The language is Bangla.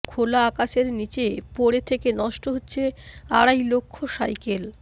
খোলা আকাশের নীচে পড়ে থেকে নষ্ট হচ্ছে আড়াই লক্ষ সাইকেল